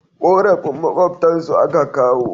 Korafin makwabtan su a ka kawo